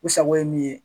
U sago ye min ye